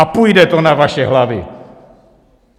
A půjde to na vaše hlavy!